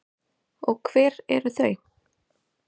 Og hver eru þau?